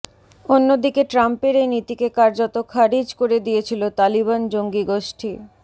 অন্যদিকে ট্রাম্পের এই নীতিকে কার্যত খারিজ করে দিয়েছিল তালিবান জঙ্গি গোষ্ঠী